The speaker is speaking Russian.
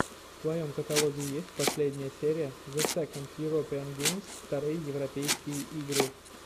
в твоем каталоге есть последняя серия зе сэконд юропиэн геймс вторые европейские игры